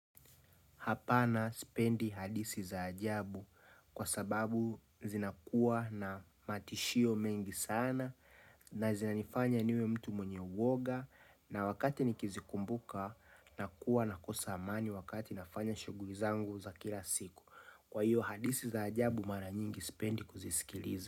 Hapana sipendi hadithi za ajabu kwa sababu zinakuwa na matishio mengi sana. Na zinanifanya niwe mtu mwenye uoga na wakati nikizikumbuka na kuwa na kosa amani wakati nafanya shughuli zangu za kila siku kwa hiyo hadithi za ajabu mara nyingi spendi kuzisikilizi.